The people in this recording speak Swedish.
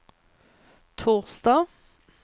torsdag